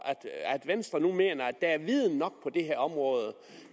at venstre nu mener at der er viden nok på det her område